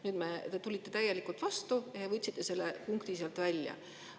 Nüüd te tulite vastu ja võtsite selle punkti sealt välja.